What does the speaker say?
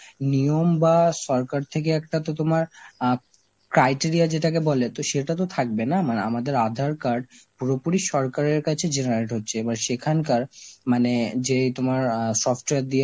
নিয়ম বা সরকার থেকে একটা তো তোমার আ criteria যেটাকে বলে, তো সেটা তো থাকবে না মানে আমাদের আধার card পুরোপুরি সরকারের কাছে generate হচ্ছে এবার সেখানকার মানে যে তোমার আ software দিয়ে